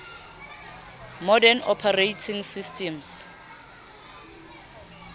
modern operating systems